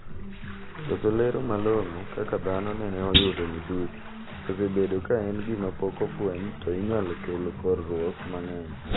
Koso lero malong'o kaka dhano nene oyudo midhusi," osebedo kaen gima pok ofweny to inyalo kelo kerruok mang'eny".